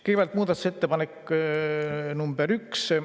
Kõigepealt muudatusettepanek nr 1.